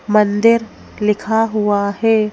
मंदिर लिखा हुआ है।